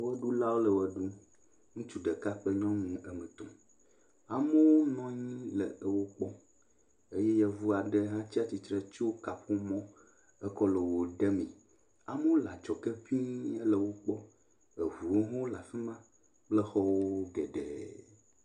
Ʋeɖulawo le ʋe ɖum. Ŋutsu ɖeka kple nyɔnu wo ame etɔ̃. Amewo nɔ anyi le wo kpɔm eye yevu aɖe hã tsi tre tso kaƒomɔ ekɔ le wo ɖe mee. Amewo le adzɔge ŋii hele wo kpɔm. Ŋuwo hã le afi ma kple xɔwo geɖe.